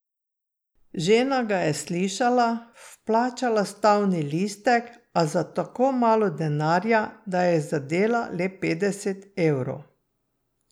Žena ga je slišala, vplačala stavni listek, a za tako malo denarja, da je zadela le petdeset evrov.